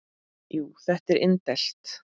Jú, þetta er indælt